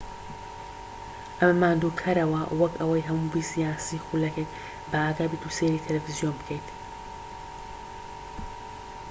ئەمە ماندووکەرەوە وەک ئەوەی هەموو بیست یان سی خولەکێک بەئاگا بیت و سەیری تەلەفزیۆن بکەیت